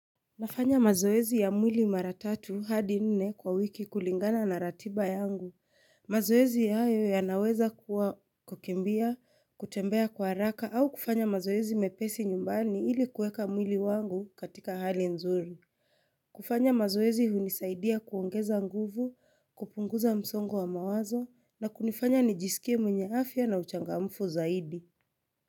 Nafanya mazoezi ya mwili mara tatu hadi nne kwa wiki kulingana na ratiba yangu. Mazoezi ya hayo yanaweza kukimbia, kutembea kwa haraka au kufanya mazoezi mepesi nyumbani ili kueka mwili wangu katika hali nzuri. Kufanya mazoezi hunisaidia kuongeza nguvu, kupunguza msongo wa mawazo na kunifanya nijisikie mwenye afya na uchangamfu zaidi.